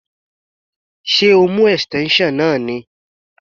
Ṣé o mú extension náà ni?